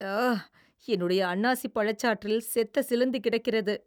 அஅ .. என்னுடைய அன்னாசி பழச்சாற்றில் செத்த சிலந்தி கிடக்கிறது.